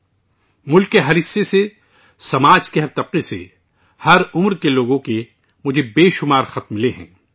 مجھے ملک کے ہر حصے سے، سماج کے ہر طبقے سے، ہر عمر کے لوگوں کی طرف سے بے شمار خطوط موصول ہوئے ہیں